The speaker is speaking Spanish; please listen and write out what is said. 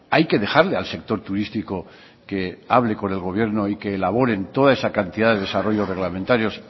hay que dejarle al sector turístico que hable con el gobierno y que elaboren toda esa cantidad de desarrollos reglamentarios